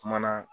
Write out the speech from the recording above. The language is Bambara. Kuma na